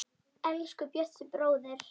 Elsku Bjössi bróðir.